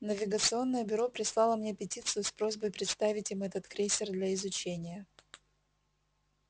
навигационное бюро прислало мне петицию с просьбой представить им этот крейсер для изучения